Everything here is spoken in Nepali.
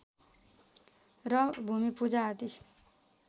र भूमिपूजा आदि